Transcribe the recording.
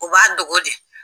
U b'a dogo de